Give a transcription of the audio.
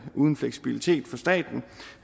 uden fleksibilitet for staten